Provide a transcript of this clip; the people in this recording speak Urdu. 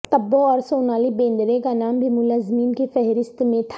تبو اور سونالی بیندرے کا نام بھی ملزمین کی فہرست میں تھا